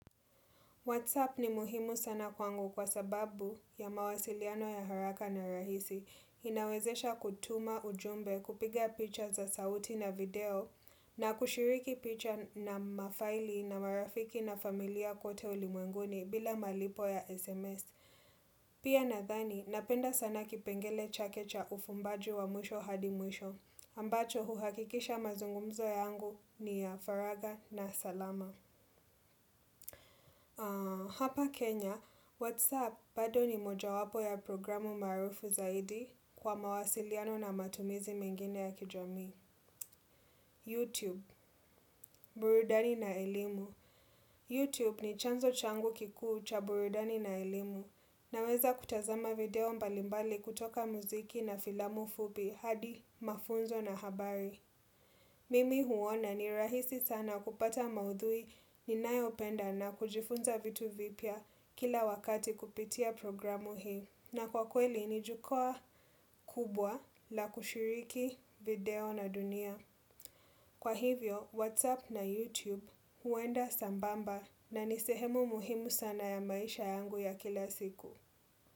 Whatsapp ni muhimu sana kwangu kwa sababu ya mawasiliano ya haraka na rahisi. Inawezesha kutuma ujumbe kupiga picha za sauti na video na kushiriki picha na mafaili na marafiki na familia kote ulimwenguni bila malipo ya SMS. Pia nathani, napenda sana kipengele chake cha ufumbaji wa mwisho hadi mwisho. Ambacho huhakikisha mazungumzo yangu ni ya faraga na salama. Hapa Kenya, Whatsapp bado ni moja wapo ya programu marufu zaidi kwa mawasiliano na matumizi mengine ya kijamii Youtube, burudani na elimu Youtube ni chanzo changu kiku ucha burudani na elimu Naweza kutazama video mbalimbali kutoka muziki na filamu fubi hadi mafunzo na habari Mimi huona ni rahisi sana kupata maudhui ninayopenda na kujifunza vitu vipya kila wakati kupitia programu hii. Na kwa kweli ni jukua kubwa la kushiriki video na dunia. Kwa hivyo, Whatsapp na Youtube huenda sambamba na nisehemu muhimu sana ya maisha yangu ya kila siku.